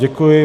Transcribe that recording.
Děkuji.